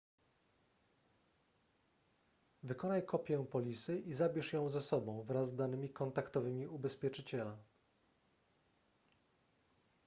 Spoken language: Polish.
wykonaj kopię polisy i zabierz ją ze sobą wraz z danymi kontaktowymi ubezpieczyciela